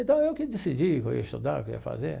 Então, eu que decidi o que eu ia estudar, o que eu ia fazer.